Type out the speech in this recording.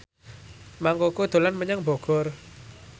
Mang Koko dolan menyang Bogor